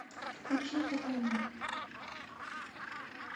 включи хованни